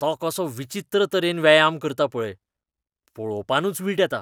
तो कसो विचित्र तरेन व्यायाम करता पळय, पळोवपानूच वीट येता.